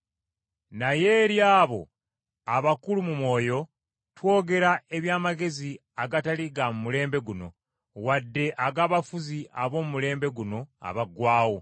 Naye eri abo abakulu mu mwoyo, twogera eby’amagezi agatali ga mu mulembe guno, wadde ag’abafuzi ab’omu mulembe guno abaggwaawo.